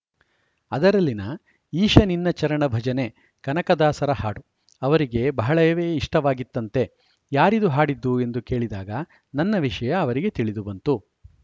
ಅದರಲ್ಲಿನ ಈಶ ನಿನ್ನ ಚರಣ ಭಜನೆಕನಕದಾಸರ ಹಾಡು ಅವರಿಗೆ ಬಹಳವೇ ಇಷ್ಟವಾಗಿತ್ತಂತೆ ಯಾರಿದು ಹಾಡಿದ್ದು ಎಂದು ಕೇಳಿದಾಗ ನನ್ನ ವಿಷಯ ಅವರಿಗೆ ತಿಳಿದು ಬಂತು